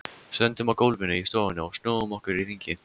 Stöndum á gólfinu í stofunni og snúum okkur í hringi.